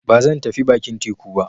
Ba zan tafi bakin teku ba.